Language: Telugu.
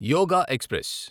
యోగ ఎక్స్ప్రెస్